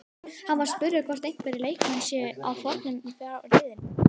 Hann var spurður hvort einhverjir leikmenn séu á förum frá leiðinu?